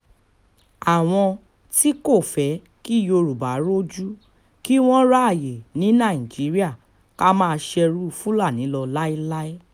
àwọn tí kò fẹ́ kí yorùbá rojú kí wọ́n ráàyè ní nàìjíríà ká máa ṣerú fúlàní lọ láéláé